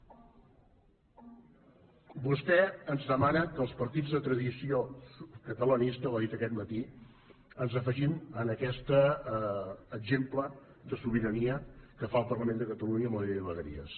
vostè ens demana que els partits de tradició catalanista ho ha dit aquest matí ens afegim a aquest exemple de sobirania que fa el parlament de catalunya amb la llei de vegueries